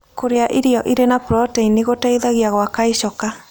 Kũrĩa irio ĩrĩ na proteĩnĩ gũteĩthagĩa gwaka ĩchoka